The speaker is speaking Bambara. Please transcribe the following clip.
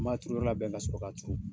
Ni b'a turu yɔrɔ labɛn ka sɔrɔ k'a turu.